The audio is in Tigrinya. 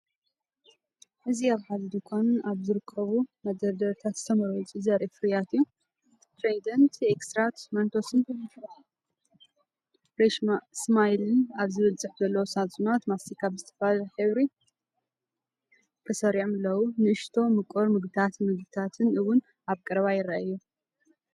እዚ ኣብ ሓደ ድኳን ኣብ ዝርከብ መደርደሪ ዝተመርጹ ፍርያት ዘርኢ እዩ። “ትራይደንት”፡ “ኤክስትራ”፡ “መንቶስ”ን “ፍረሽ ስማይል”ን ዝብል ጽሑፍ ዘለዎም ሳጹናት ማስቲካ ብዝተፈላለየ ሕብሪ ተሰሪዖም ኣለዉ። ንኣሽቱ ምቁር መግብታትን መግብታትን እውን ኣብ ቀረባ ይረኣዩ።